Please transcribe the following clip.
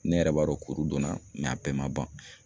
Ne yɛrɛ b'a dɔn kuru donna a bɛɛ ma ban.